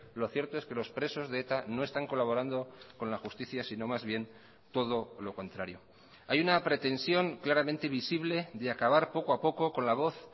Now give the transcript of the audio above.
lo cierto es que los presos de eta no están colaborando con la justicia sino más bien todo lo contrario hay una pretensión claramente visible de acabar poco a poco con la voz